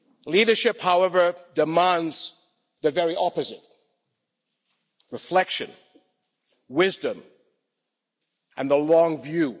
Leadership, however, demands the very opposite reflection, wisdom and the long view.